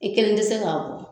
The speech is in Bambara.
I kelen tɛ se kan.